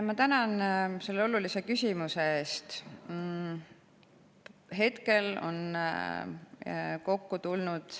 Ma tänan selle olulise küsimuse eest.